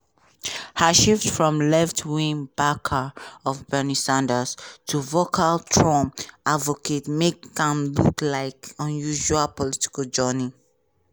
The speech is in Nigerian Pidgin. her shift from left-wing backer of bernie sanders to vocal trump advocate make am look like unusual political journey.